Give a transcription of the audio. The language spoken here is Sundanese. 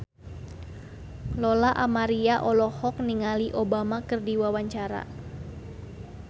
Lola Amaria olohok ningali Obama keur diwawancara